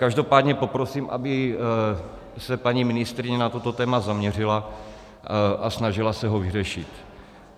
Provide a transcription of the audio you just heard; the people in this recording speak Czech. Každopádně poprosím, aby se paní ministryně na toto téma zaměřila a snažila se ho vyřešit.